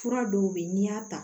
Fura dɔw bɛ yen n'i y'a ta